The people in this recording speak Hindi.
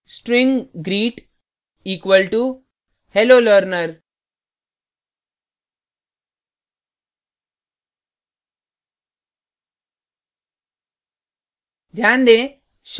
string greet equal to hello learner: